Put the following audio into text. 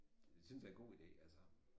Det synes jeg er god ide altså